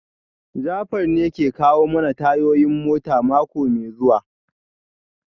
Jafar ne ke kawo mana tayoyin mota mako mai zuwa